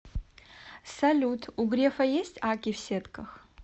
салют у грефа есть акки в сетках